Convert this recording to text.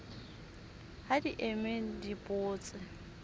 ha di eme di botse